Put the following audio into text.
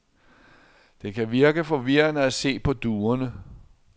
Det kan virke forvirrende at se på duerne.